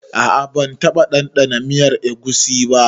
A'a ban taba dandana miyar egusi ba.